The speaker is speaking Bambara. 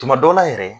Tuma dɔw la yɛrɛ